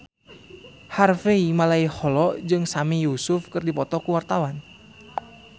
Harvey Malaiholo jeung Sami Yusuf keur dipoto ku wartawan